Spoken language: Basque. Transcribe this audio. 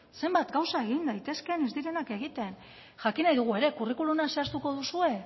zenbat gauza egin daitezkeen ez direnak egiten jakin nahi dugu ere kurrikuluma zehaztuko duzue